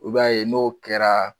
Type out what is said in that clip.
I b'a ye n'o kɛra